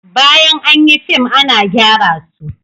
Bayan an yi fim ana gyara su